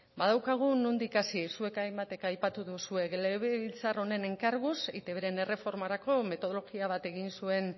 badaukagu nondik hasi zuek hainbatek aipatu duzue legebiltzar honen enkarguz eitbren erreformarako metodologia bat egin zuen